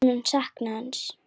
En hún mun sakna hans.